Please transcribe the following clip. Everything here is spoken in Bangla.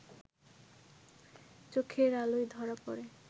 চোখের আলোয় ধরা পড়ে